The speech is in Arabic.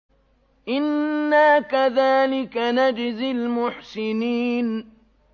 إِنَّا كَذَٰلِكَ نَجْزِي الْمُحْسِنِينَ